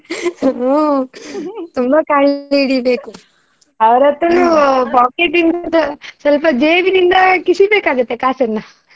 ಹ್ಮ್ ತುಂಬಾ ಕಾಲು ಎಳಿಬೇಕು ಅವ್ರ್ ಹತ್ರಾನು pocket ಇಂದ ಸ್ವಲ್ಪ ಜೇಬಿನಿಂದ ಕಿಸಿ ಬೇಕಾಗತ್ತೆ ಕಾಸನ್ನ.